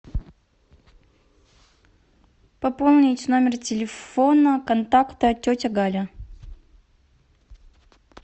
пополнить номер телефона контакта тетя галя